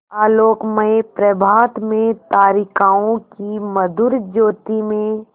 आलोकमय प्रभात में तारिकाओं की मधुर ज्योति में